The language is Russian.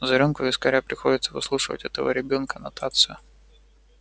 за рюмку вискаря приходится выслушивать этого ребёнка нотацию